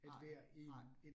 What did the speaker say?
Nej, nej